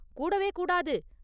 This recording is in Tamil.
கூடவே கூடாது!